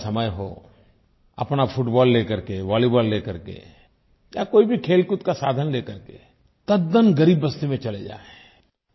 शाम का समय हो अपना फुटबॉल ले करके वॉलीबॉल ले करके या कोई भी खेलकूद का साधन ले करके तद्दन ग़रीब बस्ती में चले जाएँ